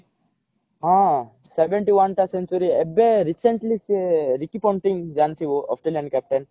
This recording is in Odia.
ହଁ seventy one ଟା century ଏବେ recently ସିଏ ରିକି ପଣ୍ଟିଙ୍ଗ ଜାଣିଥିବ ଅଷ୍ଟ୍ରେଲିଆନ captain